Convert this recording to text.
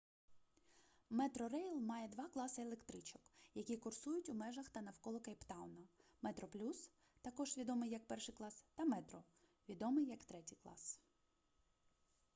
метрорейл має два класи електричок які курсують у межах та навколо кейптауна: метроплюс також відомий як перший клас та метро відомий як третій клас